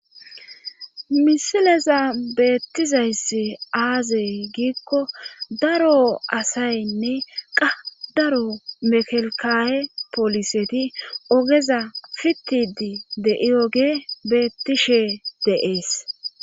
Misileza beettizayssi aaze giikko daro asaynne qa daro mekelkaye pooliseti oogeza sittidii de'iyoge beettishe de'ees